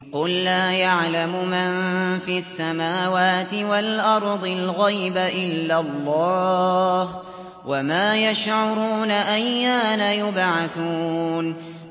قُل لَّا يَعْلَمُ مَن فِي السَّمَاوَاتِ وَالْأَرْضِ الْغَيْبَ إِلَّا اللَّهُ ۚ وَمَا يَشْعُرُونَ أَيَّانَ يُبْعَثُونَ